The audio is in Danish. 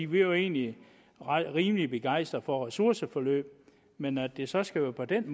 vi var egentlig rimelig begejstrede for ressourceforløb men at det så skal være på den